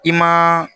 I ma